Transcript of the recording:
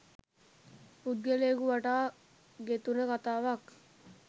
පුද්ගලයෙකු වටා ගෙතුන කතාවක්